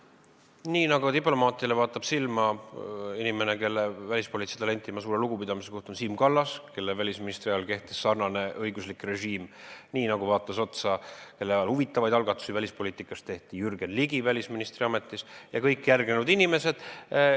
Nii nagu diplomaatidele vaatab silma inimene, kelle välispoliitilisse talenti ma suure lugupidamisega suhtun, Siim Kallas, kelle välisministriks oleku ajal kehtis sarnane õiguslik režiim, nii nagu vaatab neile otsa Jürgen Ligi, kelle välisministriks oleku ajal tehti huvitavaid algatusi välispoliitikas, ja nii nagu vaatavad kõik järgnenud välisministrid.